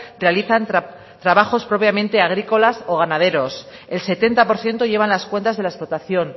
realizan trabajos propiamente agrícolas o ganaderos el setenta por ciento llevan las cuentas de la explotación